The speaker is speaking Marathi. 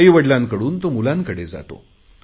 आईवडिलांकडून तो मुलांकडे जातो